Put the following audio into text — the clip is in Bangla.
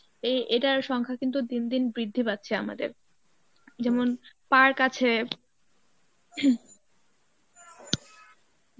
এ~ এটার সংখ্যা কিন্তু দিন দিন বৃদ্ধি পাচ্ছে আমাদের যেমন পার্ক আছে